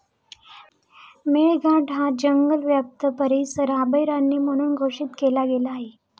मेळघाट हा जंगलव्याप्त परिसर अभयारण्य म्हणून घोषित केला गेला आहे.